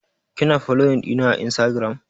Kina foloyin ɗina a instagiram?